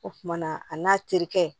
O kumana a n'a terikɛ